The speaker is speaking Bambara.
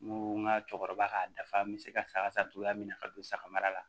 N ko n ka cɛkɔrɔba ka dafa n bɛ se ka saga san cogoya min na ka don saga mara la